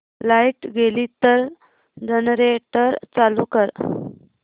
light गेली तर generator चालू कर